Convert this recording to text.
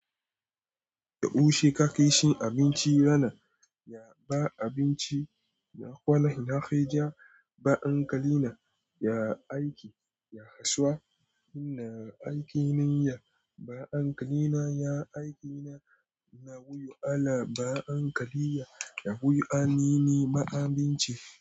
Yaushe ka kai shi abinci rana ya ba abinci na kwana ina kai ja ba ankle na ya aiki ya kasuwa ina aiki na ya ba ankle na ya aiki na na goyo ala ba ankle ya ya goyo a ni ni ma abinci.